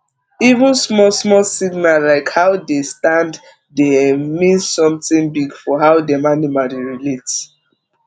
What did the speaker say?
even small small signal like how dey stand dey um mean something big for how dem animal dey relate